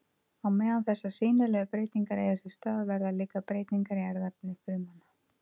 Á meðan þessar sýnilegu breytingar eiga sér stað verða líka breytingar í erfðaefni frumanna.